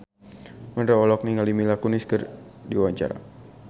Mandra olohok ningali Mila Kunis keur diwawancara